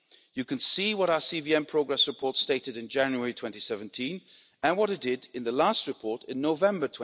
You can see what our CVM progress report stated in January 2017 and what it did in the last report in November